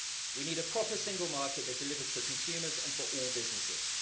We need a proper single market that delivers for consumers and for all businesses.